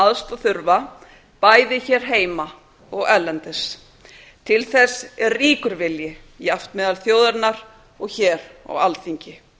aðstoð þurfa bæði hér heima og erlendis til þess er ríkir vilji jafnt meðal þjóðarinnar og hér á alþingi